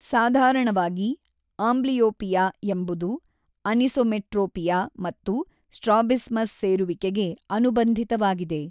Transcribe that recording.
ಸಾಧಾರಣವಾಗಿ, ಆಂಬ್ಲಿಯೋಪಿಯಾ ಎಂಬುದು ಅನಿಸೊಮೆಟ್ರೋಪಿಯಾ ಮತ್ತು ಸ್ಟ್ರಾಬಿಸ್ಮಸ್ ಸೇರುವಿಕೆಗೆ ಅನುಬಂಧಿತವಾಗಿದೆ.